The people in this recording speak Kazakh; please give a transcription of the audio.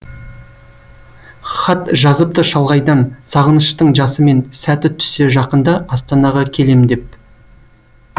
хат жазыпты шалғайдан сағыныштың жасымен сәті түссе жақында астанаға келем деп